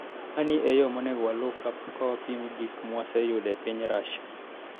"Mani e yo monego waluw ka wapimo gik mwaseyudo e piny Russia.